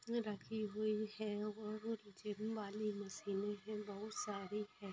रखी हुई है और जिम वाली मशीने है बहुत सारी है |